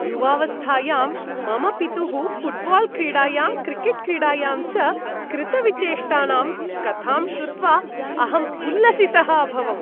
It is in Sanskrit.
युवावस्थायां मम पितुः फ़ुट्बाल् क्रीडायां, क्रिकेट् क्रीडायां च कृतविचेष्टानां कथां श्रुत्वा अहम् उल्लसितः अभवम्।